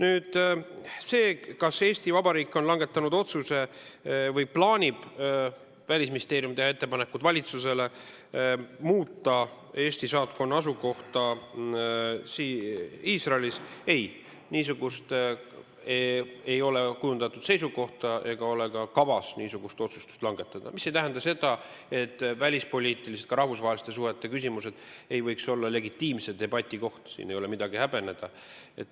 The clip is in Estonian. Seda seisukohta, kas Eesti Vabariik on langetanud otsuse või plaanib Välisministeerium teha valitsusele ettepanekut muuta Eesti saatkonna asukohta Iisraelis, ei ole kujundatud ega ole ka kavas niisugust otsust langetada, mis ei tähenda, et välispoliitilised, ka rahvusvaheliste suhete küsimused ei võiks olla legitiimse debati koht, siin ei ole midagi häbeneda.